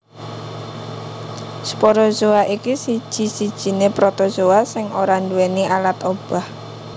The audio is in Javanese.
Sporozoa iki siji sijiné Protozoa sing ora nduwèni alat obah